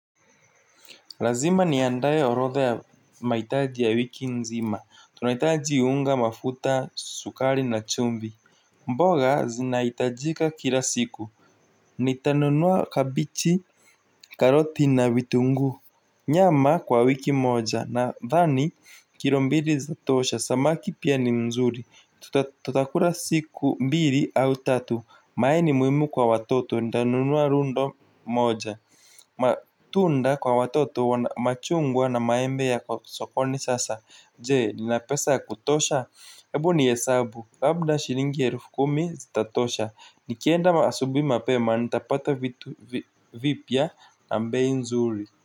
Lazima niandaye horodha ya maitaji ya wiki nzima tunaitaji unga mafuta sukari na chumbi. Mboga zinaitajika kila siku ni tanunuwa kabichi karoti na vitunguu. Nyama kwa wiki moja nadhani kilombili za tosha samaki pia ni mzuri tutakula siku mbili au tatu mayai muimu kwa watoto ndanunua rundo moja. Matunda kwa watoto machungwa na maembe ya sokoni sasa. Jee nina pesa ya kutosha. Ebu ni hesabu labda shilingi ya elfu kumi zita tosha. Nikienda maasubui mapema nitapata vipya na mbei nzuri.